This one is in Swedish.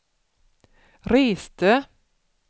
reste